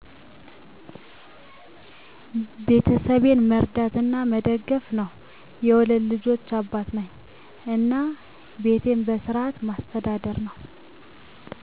ቤተሰቤን መርዳት እና መደገፍ ነው። የሁለት ልጆች አባት ነኝ እና ቤቴን በስርዓት ማስተዳደር ነው።